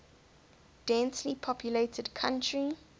densely populated country